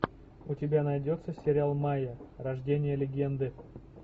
у тебя найдется сериал майя рождение легенды